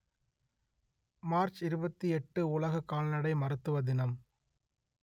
March இருபத்தி எட்டு உலக கால்நடை மருத்துவ தினம்